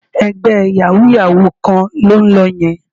Ẹgbẹ́ yàwúú-yàwuù kan ló ń lọ yẹn